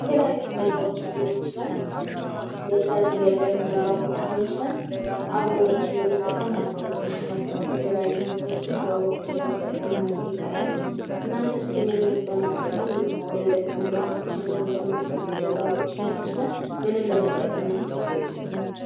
በተለያዩ ቦታዎች ሊሆን ይችላል ፤ የሰርግ የልደት ፕሮግራሞችን ሊሆን ይችላል ፣ አበቦችን በመጠቀም ማስኬድ ይችላል። የተለያዩ ቦታዎችን አበባዎችን በመጠቀምና እናስጌጣለን። እናንተ ምን ምን በመጠቀምም የልደት ፕሮግራሞችን ወይም የሰርግ ፕሮግራሞችን ሊሆን ይችላል ምንም በመጠቀም ነው የምታስጌጡጥ ።